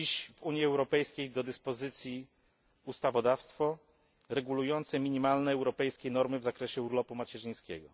Mamy dziś w Unii Europejskiej ustawodawstwo regulujące minimalne europejskie normy w zakresie urlopu macierzyńskiego.